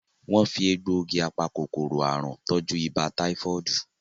Wón fí Egbògi apa-kòkòrò àrùn tọjú ibà táífọ́ọ̀dù